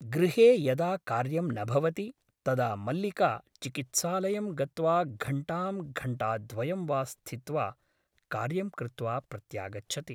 गृहे यदा कार्यं न भवति तदा मल्लिका चिकित्सालयं गत्वा घण्टां घण्टाद्वयं वा स्थित्वा कार्यं कृत्वा प्रत्यागच्छति ।